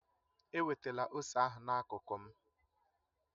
Ewetala ose ahụ na-akuku m